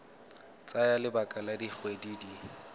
tsaya lebaka la dikgwedi di